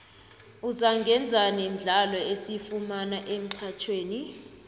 uzangaenzani mdlalo esiwufumana emxhatjhweni